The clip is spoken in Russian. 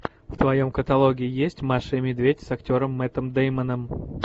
в твоем каталоге есть маша и медведь с актером мэттом дэймоном